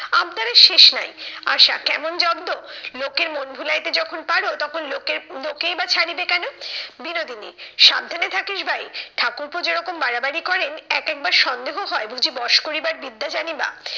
আবদারের শেষ নাই। আশা, কেমন জব্দ? লোকের মন ভুলাইতে যখন পারো তখন লোকের লোকেই বা ছাড়িবে কেন? বিনোদিনী, সাবধানে থাকিস ভাই ঠাকুরপো যেরকম বাড়াবাড়ি করেন, এক একবার সন্দেহ হয় বুঝি বস করিবার বিদ্যা জানি বা।